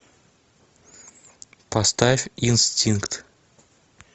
поставь инстинкт